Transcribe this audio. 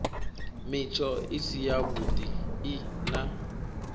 mitsho i si yavhui na